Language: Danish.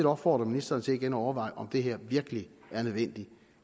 opfordre ministeren til at overveje om det her virkelig er nødvendigt